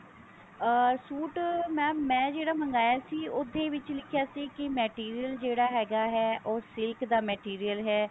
ਅਹ suit mam ਮੈਂ ਜਿਹੜਾ ਮਗਾਇਆ ਸੀ ਉਹਦੇ ਵਿੱਚ ਲਿਖਿਆ ਸੀ ਕਿ material ਜਿਹੜਾ ਹੈਗਾ ਹੈ ਉਹ silk ਦਾ material ਹੈ